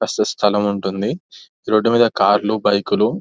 స్థలం ఉంటుంది రోడ్డుమీద కార్లు బైకులు --